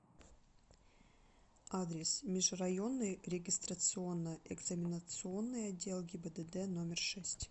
адрес межрайонный регистрационно экзаменационный отдел гибдд номер шесть